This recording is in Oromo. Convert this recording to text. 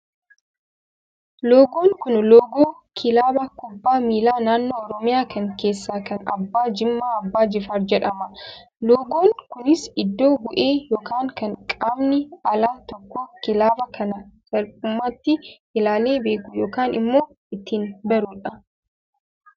Loogoon kun, loogoo kilaba kubbaa miilaa naannoo Oromiya kan keessaa kan abbaa Jimmaa abbaa jifaar jedhama. Loogoon kunis iddo bu'ee yookaan kan qaamni alaa tokko kilaba kana salphumatti ilaalee beekuu yookaan immoo ittiin barudha.